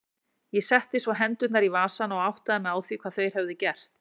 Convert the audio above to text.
Ég setti svo hendurnar í vasana og áttaði mig á hvað þeir höfðu gert.